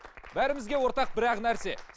бәрімізге ортақ бір ақ нәрсе